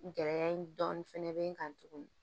Gɛlɛya in dɔɔnin fɛnɛ be n kan tuguni